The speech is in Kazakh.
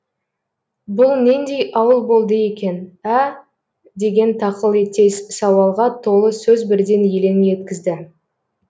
бұл нендей ауыл болды екен ә деген тақылеттес сауалға толы сөз бірден елең еткізді